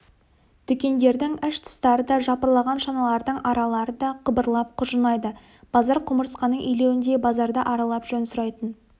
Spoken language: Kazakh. дүкендердің іш-тыстары да жапырлаған шаналардың аралары да қыбырлап құжынайды базар құмырсқаның илеуіндей базарды аралап жөн сұрайтын